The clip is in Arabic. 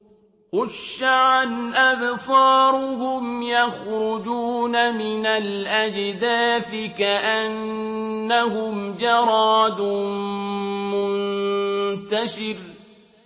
خُشَّعًا أَبْصَارُهُمْ يَخْرُجُونَ مِنَ الْأَجْدَاثِ كَأَنَّهُمْ جَرَادٌ مُّنتَشِرٌ